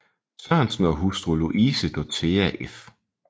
Sørensen og hustru Louise Dorthea f